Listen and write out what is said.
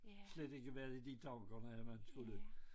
Slet ikke være i de tankerne at man skulle